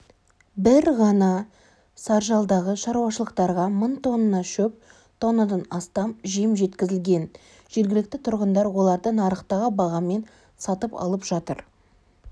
бір ғана саржалдағы шаруашылықтарға мың тонна шөп тоннадан астам жем жеткізілген жергілікті тұрғындар оларды нарықтағы бағамен сатып алып жатыр